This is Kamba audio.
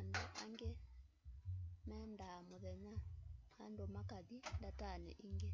andũ aĩngĩ mendaa mũthenya andũ makathĩ ndatanĩ ĩngĩ